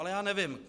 Ale já nevím.